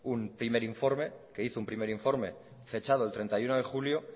un primer informe que hizo un primer informe fechado el treinta y uno de julio